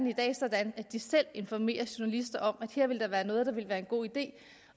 i dag sådan at de selv informerer journalister om at der her ville være noget der ville være en god idé